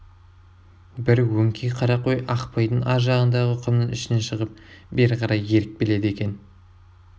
бір өңкей қара қой ақпайдың аржағындағы құмның ішінен шығып бері қарай еріп келеді екен